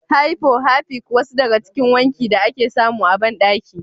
Hypo, harpic wasu daga cikin wanki da ake samu a bandaki.